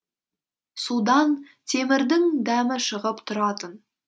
судан темірдің дәмі шығып тұратын